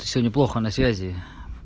сегодня плохо на связи